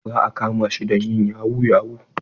Za a kama shi don yin yahu yahu.